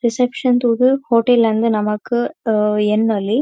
Reception ತೂದ್ hotel ಅಂದ್ ನಮಕ್ ಆ ಎನ್ನೊಲಿ.